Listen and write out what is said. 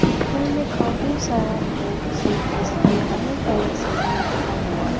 ऊपर में काफी सारा बॉक्स है जिसपे अलग अलग समान रखा हुआ है।